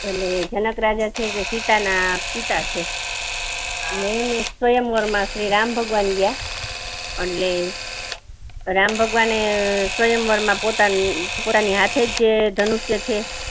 એટલે જનક રાજા એ કે સીતા ના પિતા છે. ને સ્વયંવર શ્રીરામ ભગવાન ગયા રામ ભગવાને સ્વયંવર મા પોતાની સાથે જે ધનુષ્ય છે